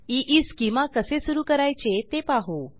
ईस्केमा कसे सुरू करायचे ते पाहू